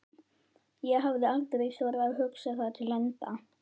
ég hafði aldrei þorað að hugsa það til enda.